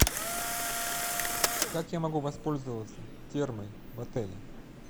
как я могу воспользоваться термой в отеле